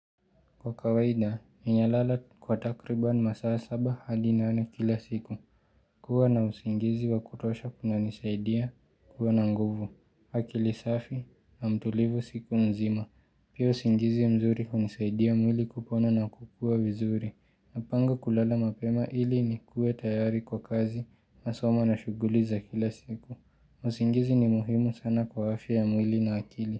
Kwa kawaida, ninalala kwa takribani masaa saba hadi nane kila siku. Kuwa na usingizi wa kutosha kuna nisaidia kuwa na nguvu. Hakili safi na mtulivu siku mzima. Pia usingizi mzuri hunisaidia mwili kupona na kukua vizuri. Napanga kulala mapema ili ni kue tayari kwa kazi masoma na shuguliza kila siku. Usingizi ni muhimu sana kwa afya ya mwili na akili.